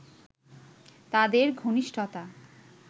তাদের ঘনিষ্ঠতা